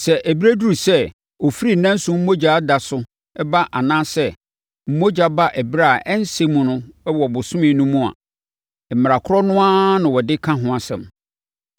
“ ‘Sɛ ɛberɛ duru sɛ ɔfiri nanso mogya da so ba anaasɛ mogya ba ɛberɛ a ɛnsɛ mu wɔ bosome no mu a, mmara korɔ no ara na wɔde ka ho asɛm,